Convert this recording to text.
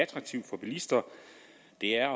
det er